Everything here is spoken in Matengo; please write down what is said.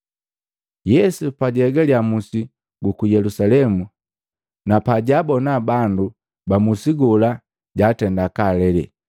Yesu pajaegalya musi guku Yelusalemu napajabona bandu ba musi gola jatenda kaalele.